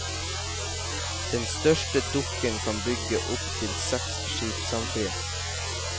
Den største dokken kan bygge opp til seks skip samtidig.